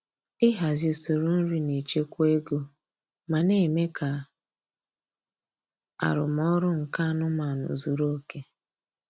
Ịhazi usoro nri na-echekwa ego ma na-eme ka arụmọrụ nke anụmanụ zuru oke.